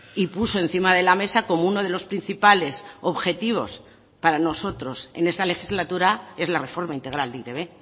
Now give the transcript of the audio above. y puso encima de la mesa como uno de los principales objetivos para nosotros en esta legislatura es la reforma integral de e i te be